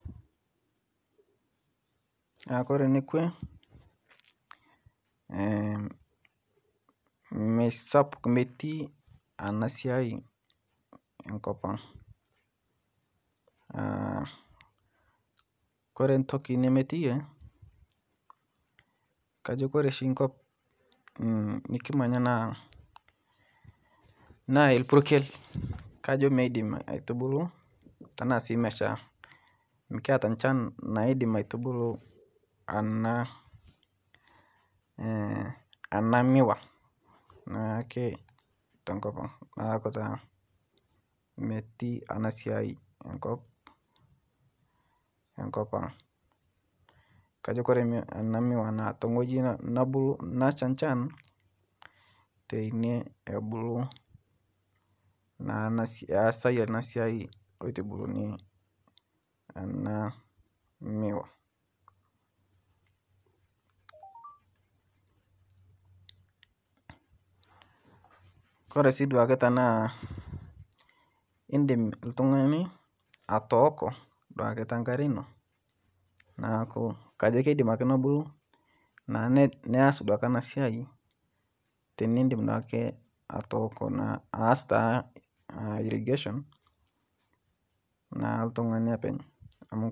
Kore nekwe meisapuk metii ana siai nkopang' kore ntoki nemetiyee kajo kore shi nkop nikimanya naa, naa elpurkel kajo meidim aitubulu tanaa sii meshaa mikiata nchan naidim aitubulu anaa, ana miwaa naake tenkopang' naaku taa meti ana siai enkopang' kajo kore ana miwaa naa teng'oji naboo nasha nchan teinie ebulu naa easai anaa siai eitubuluni ana miwaa. Kore sii duake tanaa indim atooko duake tankaree inoo naaku keidim akee nobulu naa nias duake ana siai tinindim naake atooko naa aas taa irrigation naa ltung'ani apeny amu.